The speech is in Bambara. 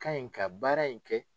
Ka ɲi ka baara in kɛ